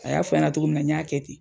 A y'a f'an ɲana togo min na n y'a kɛ ten.